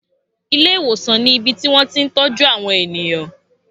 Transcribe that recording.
Ilé ìwòsàn ni ibi tí wón ti ń tọ́jú àwọn ènìyàn.